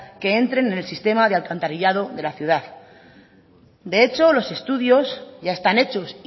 que entre en el sistema de alcantarillado de la ciudad de hecho los estudios ya están hechos